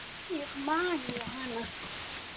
Þannig man ég hana.